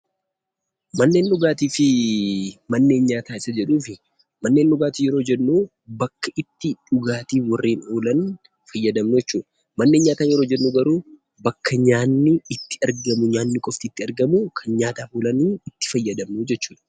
Manneen dhugaatii fi manneen nyaataa isa jedhuufi, manneen dhugaatii yeroo jennu bakka itti dhugaatiif warreen oolan fayyadamnu jechuudha. Manneen nyaataa yeroo jennu garuu bakka nyaatni itti argamu, nyaatni qofti itti argamu kan nyaataaf oolanii itti fayyadamnu jechuudha.